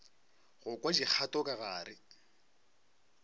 go kwa dikgato ka gare